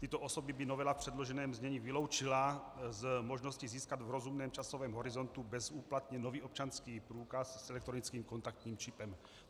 Tyto osoby by novela v předloženém znění vyloučila z možnosti získat v rozumném časovém horizontu bezúplatně nový občanský průkaz s elektronickým kontaktním čipem.